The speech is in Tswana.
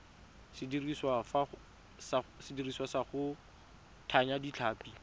sediriswa sa go thaya ditlhapi